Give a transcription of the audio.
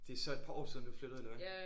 Det er så et par år siden du flyttede eller hvad?